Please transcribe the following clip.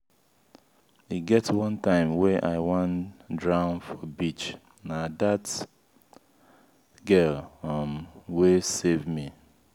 e get one time wey i wan drown for beach na dat girl um wey safe me.